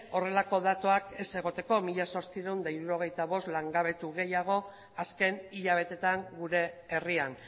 horrelako datuak ez egoteko mila zortziehun eta hirurogeita bost langabetu gehiago azken hilabetetan gure herrian